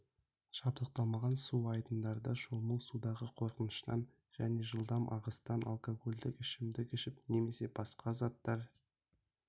жабдықталмаған су айдындарында шомылу судағы қорқыныштан және жылдам ағыстан алкогольдік ішімдік ішіп немесе басқа заттар